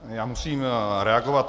Já musím reagovat.